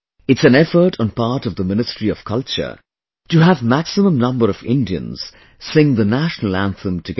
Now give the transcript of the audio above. It's an effort on part of the Ministry of Culture to have maximum number of Indians sing the National Anthem together